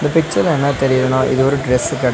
இந்த பிச்சர்ல என்ன தெரியிதுன்னா இது ஒரு டிரஸ்சு கட.